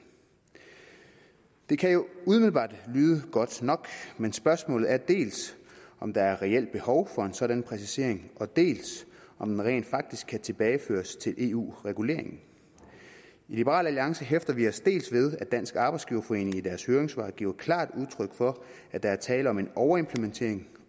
det kan jo umiddelbart lyde godt nok men spørgsmålet er dels om der er et reelt behov for en sådan præcisering dels om man rent faktisk kan tilbageføre det til eu regulering i liberal alliance hæfter vi os dels ved at dansk arbejdsgiverforening i deres høringssvar giver klart udtryk for at der er tale om en overimplementering